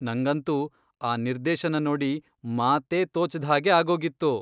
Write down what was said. ನಂಗಂತೂ ಆ ನಿರ್ದೇಶನ ನೋಡಿ ಮಾತೇ ತೋಚದ್ಹಾಗೆ ಆಗೋಗಿತ್ತು.